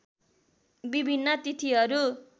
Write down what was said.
विभिन्न तिथिहरू